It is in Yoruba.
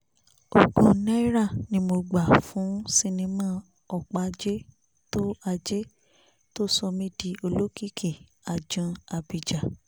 ogun náírà ni mo gbà fún sinimá ọpa àjẹ́ tó àjẹ́ tó sọ mí di olókìkí ajan ábíjà